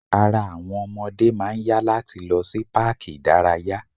Ara àwọn ọmọdé máà ń yá láti lọ sí páàkì ìdárayá.